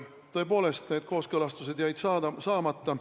Tõepoolest, need kooskõlastused jäid saamata.